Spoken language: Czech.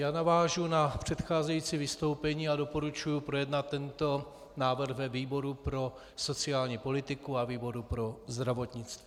Já navážu na předcházející vystoupení a doporučuji projednat tento návrh ve výboru pro sociální politiku a výboru pro zdravotnictví.